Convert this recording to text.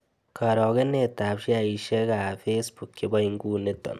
Karogenetap sheaisiekap facebook che po inguniton